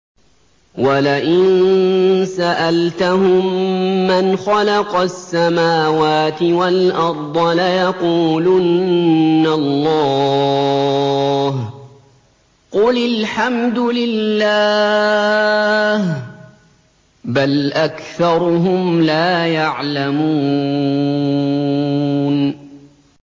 وَلَئِن سَأَلْتَهُم مَّنْ خَلَقَ السَّمَاوَاتِ وَالْأَرْضَ لَيَقُولُنَّ اللَّهُ ۚ قُلِ الْحَمْدُ لِلَّهِ ۚ بَلْ أَكْثَرُهُمْ لَا يَعْلَمُونَ